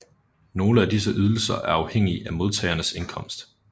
Nogle af disse ydelser er afhængige af modtagerens indkomst